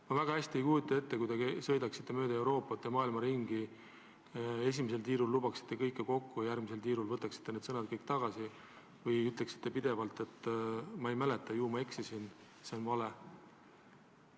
Ma väga hästi ei kujuta ette, et te sõidaksite mööda Euroopat ja muud maailma ringi ja esimesel tiirul lubaksite kõike kokku ja järgmisel tiirul võtaksite oma sõnad tagasi või ütleksite pidevalt, et ma ei mäleta, ju ma eksisin, see on tegelikult vale.